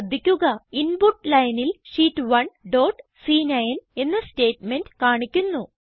ശ്രദ്ധിക്കുക ഇൻപുട്ട് lineൽ sheet 1 dot C nine എന്ന സ്റ്റേറ്റ്മെന്റ് കാണിക്കുന്നു